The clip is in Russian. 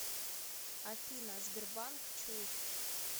афина сбербанк чушь